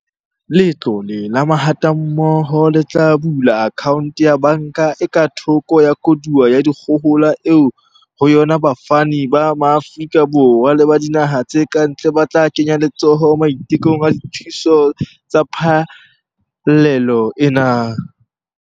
Letlole la Mahatammoho le tla bula akhaonto ya banka e ka thoko ya koduwa ya dikgohola eo ho yona bafani ba Maafrika Borwa le ba dinaha tse kantle ba tla kenya letsoho maitekong a dithuso tsa phallelo ena.